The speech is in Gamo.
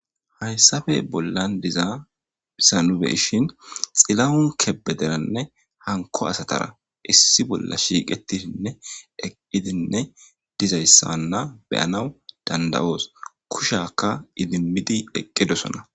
Hayssappe bolla diza hayssan nu be'ishen Xilawun Kebederanne hanko asatara issi bolla shiiqetishinne eqqidinne diza issanne be'aanaw dandayoos. Kushakka idimidi eqqedosona.